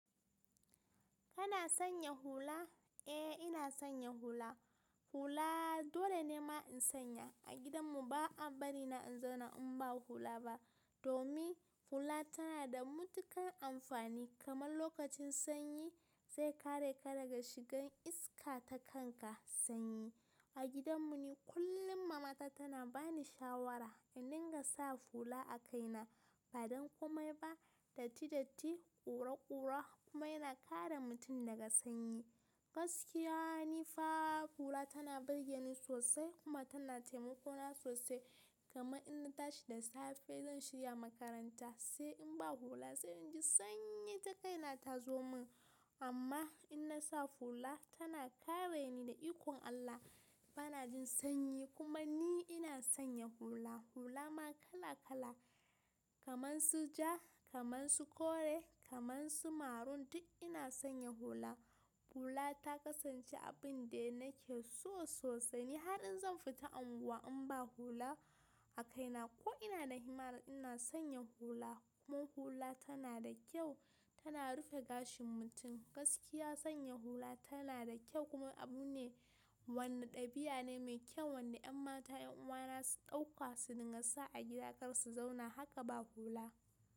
Kana sanya hula? Eh ina sanya hula. Hula dole ne ma in sanya. A gidan mu ba a bari na in zauna in ba hula ba. Domin hula tana da matuƙar amfani kamar lokacin sanyi zai kare ka daga shigan iska ta kanka sanyi. A gidan mu ne kullum mama ta tana bani shawara in dinga sa hula a kaina. Ba don komai ba, datti datti, ƙura ƙura kuma yana kare mutum daga sanyi. Gaskiya ne fa hula tana birgeni sosai kuma tana taimako na sosai. Kama in na tashi da safe zan shirya makaranta, sai in ba hula, sai in ji sanyi ta kaina ta zo mun. Amma in na sa hula tana kare ni da ikon Allah. Ba na jin sanyi kuma ni ina sanya hula. Hula ma kala kala, kamar su ja, kamar su kore, kamar su maroon duk ina sanya hula. Hula ta kasance abin da nake so sosai. Ni har in zan fita unguwa in ba hula a kaina ko ina da himmar ina sanya hula. Kuma hula tana da kyau, tana rufe gashin mutum. Gaskiya sanya hula tana da kyau kuma abu ne wanda ɗabi'a ne mai kyau wanda yan mata, yan uwa na su ɗauka su dinga sa a gida kar su zauna haka ba hula.